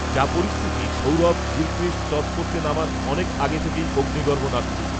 যা পরিস্থিতি, Sourav Gilchrist, toss করতে নামার, অনেক, আগে থেকেই অগ্নিগর্ভ, নাগপুর